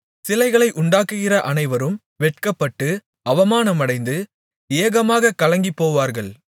சிலைகளை உண்டாக்குகிற அனைவரும் வெட்கப்பட்டு அவமானமடைந்து ஏகமாகக் கலங்கிப்போவார்கள்